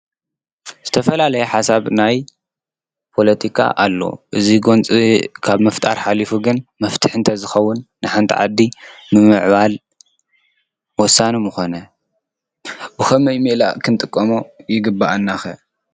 ዝተፈላለየ ሓሳብ ናይ ፖለቲካ ኣሎ። እዚ ጎንፂ ካብ ምፍጣር ሓሊፉ ግን መፍትሒ እንተዝኸውን ንሓንቲ ዓዲ ንምምዕባል ወሳኒ ምኾነ ።ብኸመይ ሜላ ክንጥቀሞ ይግበኣና ኸ?